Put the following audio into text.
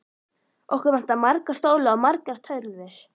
Okkur vantar marga stóla og margar tölvur.